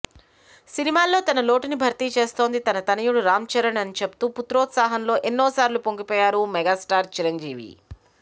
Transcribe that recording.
సినిమాల్లో తన లోటుని భర్తీ చేస్తోంది తన తనయుడు రామ్చరణ్ అనిచెప్తూ పుత్రోత్సాహంలో ఎన్నోసార్లు పొంగిపోయారు మెగాస్టార్ చిరంజీవి